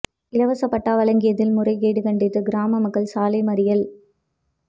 இலவச பட்டா வழங்கியதில் முறைகேடு கண்டித்து கிராம மக்கள் சாலை மறியல்